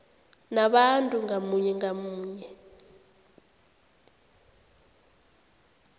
nabantu ngamunye ngamunye